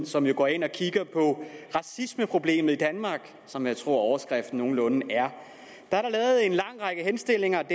som jo går ind og kigger på racismeproblemet i danmark som jeg tror overskriften nogenlunde er er der lavet en lang række henstillinger